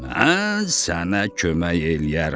Mən sənə kömək eləyərəm.